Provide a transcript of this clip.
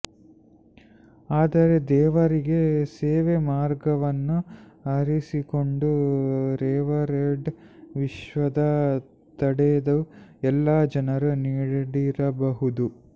ಆದರೆ ದೇವರಿಗೆ ಸೇವೆ ಮಾರ್ಗವನ್ನು ಆರಿಸಿಕೊಂಡು ರೆವರೆಂಡ್ ವಿಶ್ವದ ತಡೆದು ಎಲ್ಲಾ ಜನರು ನೀಡಿರಬಹುದು